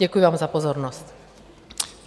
Děkuji vám za pozornost.